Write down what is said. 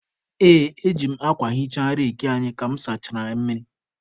Ee, eji m akwa hichaa reki anyị ka mụ sachara ya mmiri.